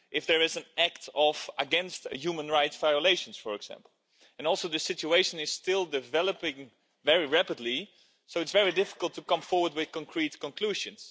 If there is an act of human rights violations, for example. Also, the situation is still developing very rapidly, so it's very difficult to come forward with concrete conclusions.